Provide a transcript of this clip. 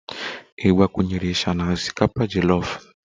Ị gbakwunyere isha na osikapa jolof?